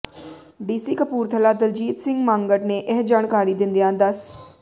DC Kapurthala Daljit Singh Mangat ਨੇ ਇਹ ਜਾਣਕਾਰੀ ਦਿੰਦਿਆਂ ਦੱਸ